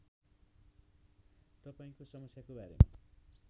तपाईँको समस्याको बारेमा